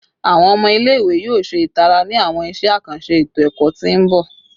Awọn ọmọ ile-iwe yoo ṣe itara ni awọn iṣẹ akanṣe eto-ẹkọ ti n bọ